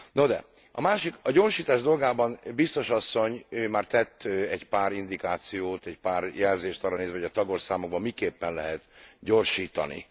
No de, a másik, a gyorsítás dolgában a Biztos asszony már tett egy pár indikációt, egy pár jelzést arra nézve, hogy a tagországokban miképpen lehet gyorsítani.